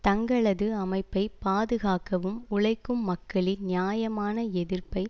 தங்களது அமைப்பை பாதுகாக்கவும் உழைக்கும் மக்களின் நியாயமான எதிர்ப்பை